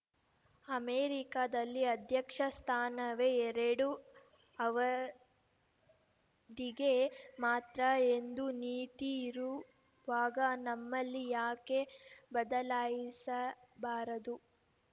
ಅಮೆರಿಕದಲ್ಲಿ ಅಧ್ಯಕ್ಷ ಸ್ಥಾನವೇ ಎರಡು ಅವತಿಗೆ ಮಾತ್ರ ಎಂಬ ನೀತಿ ಇರುವಾಗ ನಮ್ಮಲ್ಲಿ ಯಾಕೆ ಬದಲಾಯಿಸಬಾರದು